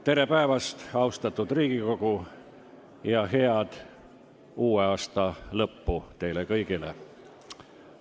Tere päevast, austatud Riigikogu, ja head uue aasta lõppu teile kõigile!